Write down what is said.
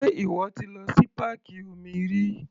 Sé ìwọ ti lọ sí páàkì omi rí?